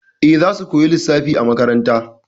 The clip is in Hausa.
Eh, zasu koya lissafi a makaranta.